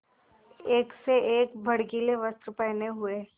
एक से एक भड़कीले वस्त्र पहने हुए